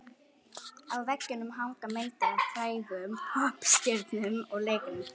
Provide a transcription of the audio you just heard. Á veggjunum hanga myndir af frægum poppstjörnum og leikurum.